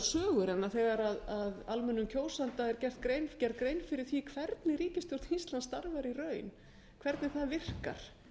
sögur en þegar almennum kjósanda er gerð grein fyrir því hvernig ríkisstjórn íslands starfar í raun hvernig það virkar